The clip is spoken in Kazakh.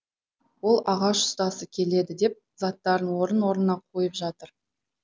ол ағаш ұстасы келеді деп заттарын орын орнына қойып жатыр